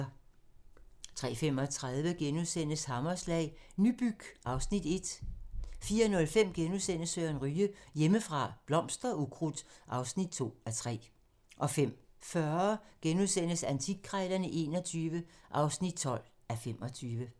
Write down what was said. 03:35: Hammerslag - Nybyg (Afs. 1)* 04:05: Søren Ryge: Hjemmefra - Blomster og ukrudt (2:3)* 05:40: Antikkrejlerne XXI (12:25)*